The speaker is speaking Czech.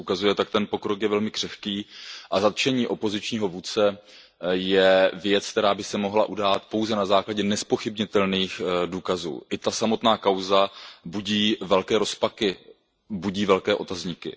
Jak se ukazuje, tak ten pokrok je velmi křehký a zatčení opozičního vůdce je věc, která by se mohla udát pouze na základě nezpochybnitelných důkazů. Samotná kauza budí velké rozpaky, budí velké otazníky.